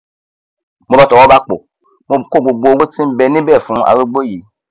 mo bá tọwọ bàpò mo kó gbogbo owó tí nbẹ níbẹ fún arúgbó yìí